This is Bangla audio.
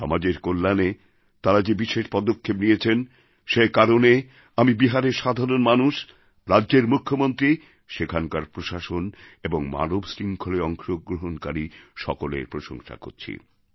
সমাজের কল্যাণে তাঁরা যে বিশেষ পদক্ষেপ নিয়েছেন সেই কারণে আমি বিহারের সাধারণ মানুষ রাজ্যের মুখ্যমন্ত্রী সেখানকার প্রশাসন এবং মানবশৃঙ্খলে অংশগ্রহণকারী সকলের প্রশংসা করছি